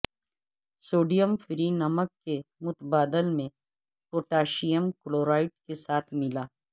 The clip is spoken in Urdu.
سوڈیم فری نمک کے متبادل میں پوٹاشیم کلورائڈ کے ساتھ ملا